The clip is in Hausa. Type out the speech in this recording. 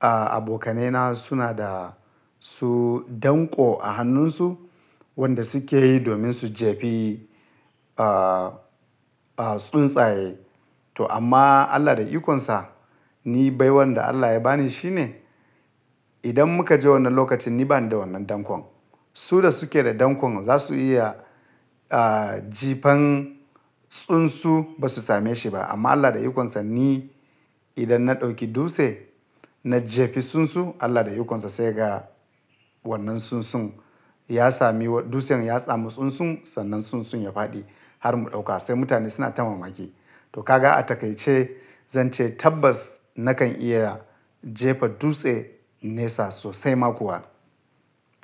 ah, abokanai na suna da su danƙo a hannunsu wanda suke yi domin su jefi, ah, tsuntsaye. To amma Allah da ikonsa ni baiwan da Allah ya ba ni shine idan muka je wannan lokacin ni bani da wannan dankon. Su da suke da dankon za su iya, ah, jefan tsunsu ba su same shi ba. Amma Allah da ikonsa ni idan na ɗauki dutse na jefi tsunsu Allah da ikonsa sai ya ga wannan tsuntsun ya sami wa-- dutsen ya sami tsuntsun sannan tsuntsun ya faɗi har mu ɗauka. Sai mutane suna ta mamaki. To ka ga atakaice zan ce tabbas nakan iya jefa dutse nesa sosai ma kuwa.